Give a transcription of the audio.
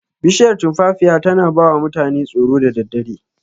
Bishiyar tumfafiya tana bawa mutane tsoro da daddare.